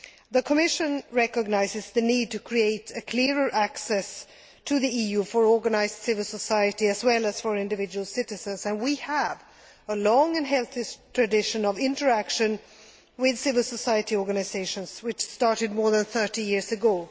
The Commission recognises the need to create a clearer access to the EU for organised civil society as well as for individual citizens and we have a long and healthy tradition of interaction with civil society organisations, which started more than 30 years ago.